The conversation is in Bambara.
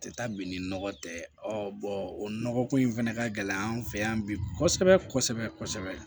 Tɛ taa bi ni nɔgɔ tɛ o nɔgɔ ko in fɛnɛ ka gɛlɛn an fɛ yan bi kosɛbɛ kosɛbɛ